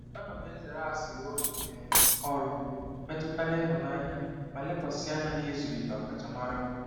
Ana m ezere asịrị ụlọ um ọrụ metụtara ịhụnanya ma lekwasị anya n'ịzụlite ọkachamara m.